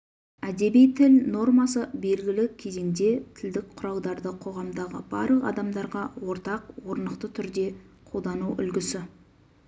әдеби тіл нормасы белгілі кезеңде тілдік құралдарды қоғамдағы барлық адамдарға ортақ орнықты түрде қолдану үлгісі